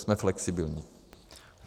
Jsme flexibilní.